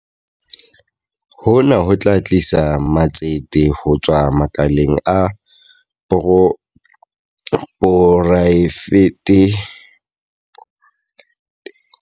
Hona ho tla tlisa matsete ho tswa makaleng a poraefete le ho ntlafatsa tshebetso le polokelo ya dikhontheina.